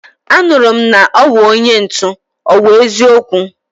anuru m na owu onye ntu, owu eziokwu?